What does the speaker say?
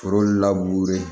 Foro laburu ye